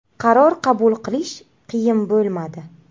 Qaror qabul qilish qiyin bo‘lmadi.